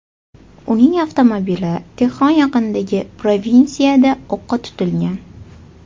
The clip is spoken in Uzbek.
Uning avtomobili Tehron yaqinidagi provinsiyada o‘qqa tutilgan.